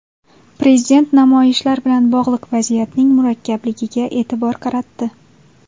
Prezident namoyishlar bilan bog‘liq vaziyatning murakkabligiga e’tibor qaratdi.